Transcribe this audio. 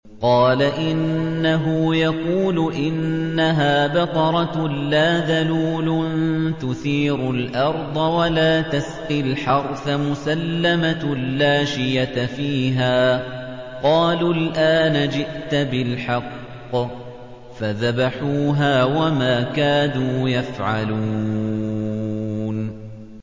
قَالَ إِنَّهُ يَقُولُ إِنَّهَا بَقَرَةٌ لَّا ذَلُولٌ تُثِيرُ الْأَرْضَ وَلَا تَسْقِي الْحَرْثَ مُسَلَّمَةٌ لَّا شِيَةَ فِيهَا ۚ قَالُوا الْآنَ جِئْتَ بِالْحَقِّ ۚ فَذَبَحُوهَا وَمَا كَادُوا يَفْعَلُونَ